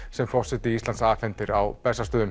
sem forseti Íslands afhendir á Bessastöðum